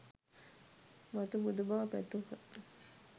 මතු බුදු බව පැතූහ